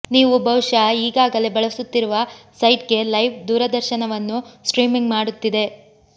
ನೀವು ಬಹುಶಃ ಈಗಾಗಲೇ ಬಳಸುತ್ತಿರುವ ಸೈಟ್ಗೆ ಲೈವ್ ದೂರದರ್ಶನವನ್ನು ಸ್ಟ್ರೀಮಿಂಗ್ ಮಾಡುತ್ತಿದೆ